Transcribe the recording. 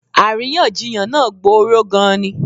Àríyànjiyàn náà gboró gan-an ni.